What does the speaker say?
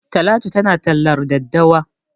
Talatu tana tallar daddawa.